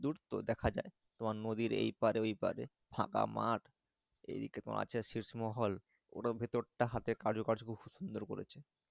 দূর তো দেখা যাই তোমার নদীর এই পার ওই পারে ফাঁকা মাঠ এদিকে তোমার আছে শেষ মহল পুরো ভিতরটা আরো কার্য খুব সুন্দর করেছে।